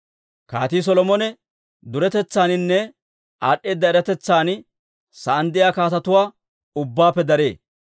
Kaatii Solomone duretetsaaninne aad'd'eeda eratetsan sa'aan de'iyaa kaatetuwaa ubbaappe daree.